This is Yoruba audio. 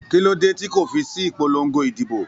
Kí ló dé tí kò fi sí ìpolongo ìdìbò?